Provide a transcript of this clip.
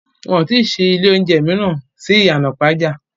Wọ́n ti ṣí ilé oúnjẹ mìíràn sí ìyànà ìpàjà